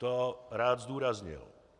To rád zdůraznil.